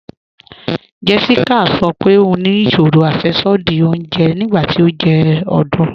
Jéssíkà sọ́ pé ó ní ìṣòrò afẹ̀ṣọdí òunjè nígbàtí ó jẹ ọdọ̀.